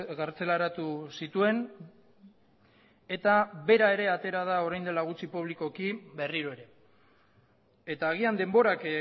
kartzelaratu zituen eta bera ere atera da orain dela gutxi publikoki berriro ere eta agian denborak